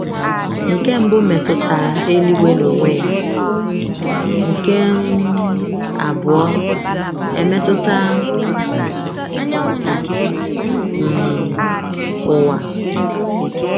Nke mbụ metụtara eluigwe n’onwe ya, nke um abụọ emetụta um ụwa.